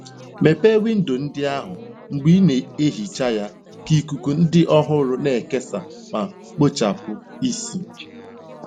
Mepee windo ndị ahụ mgbe ị na-ehicha ya ka ikuku dị ọhụrụ na-ekesa ma kpochapụ ísì.